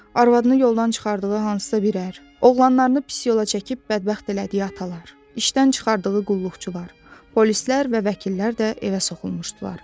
Arvadını yoldan çıxardığı hansısa bir ər, oğlanlarını pis yola çəkib bədbəxt elədiyi atalar, işdən çıxardığı qulluqçular, polislər və vəkillər də evə soxulmuşdular.